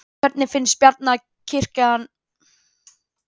Hvernig finnst Bjarna kirkjan hafa staðið sig í að fást við það?